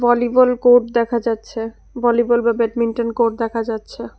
Volleyball court দেখা যাচ্ছে volleyball বা ব্যাডমিন্টন কোড দেখা যাচ্ছে।